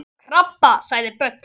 Það var krabbi sagði Böddi.